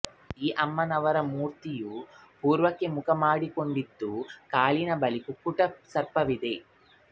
ಈ ಅಮ್ಮನವರ ಮೂರ್ತಿಯು ಪೂರ್ವಕ್ಕೆ ಮುಖ ಮಾಡಿಕೊಂಡಿದ್ದು ಕಾಲಿನ ಬಳಿ ಕುಕ್ಕುಟ ಸರ್ಪವಿದೆ